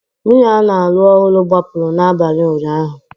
Nwunye a na-alụ ọhụrụ gbapụrụ n'abalị ụnyaahụ